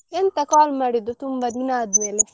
ಎಂತ call ಮಾಡಿದ್ದು ತುಂಬ ದಿನ ಆದ್ಮೇಲೆ?